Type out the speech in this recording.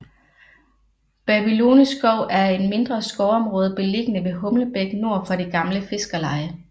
Babylone skov er et mindre skovområde beliggende ved Humlebæk nord for det gamle fiskerleje